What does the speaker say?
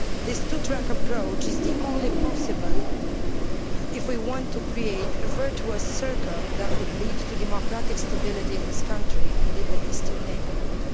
This two track approach is the only one possible if we want to create a virtuous circle that could lead to democratic stability in this country and in the Eastern neighbourhood.